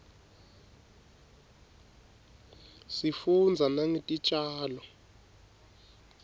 sifundza nangetitjalo